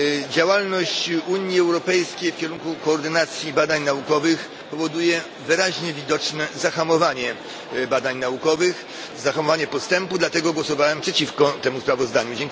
Działalność Unii Europejskiej w kierunku koordynacji badań naukowych powoduje wyraźnie widoczne zahamowanie badań naukowych, zahamowanie postępu, dlatego głosowałem przeciwko temu sprawozdaniu.